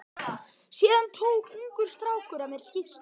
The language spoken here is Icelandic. Síðan tók ungur strákur af mér skýrslu.